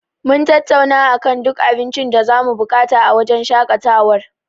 Mun tattauna akan duk abincin da zamu buƙata a wajen shaƙatawar.